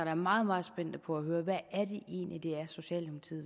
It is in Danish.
er meget meget spændte på at høre hvad